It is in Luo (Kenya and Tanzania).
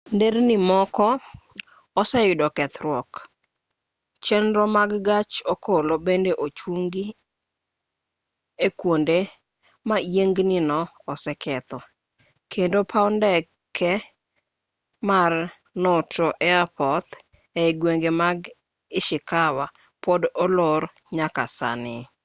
nderni moko oseyudo kethruok chenro mag gach okolo bende ochungi e kwonde ma yiengnino oseketho kendo paw ndeke mar noto airport ei gwenge mag ishikawa pod olor nyaka sani